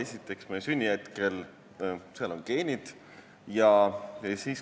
Esiteks, meie sünni hetkel on seal geenid.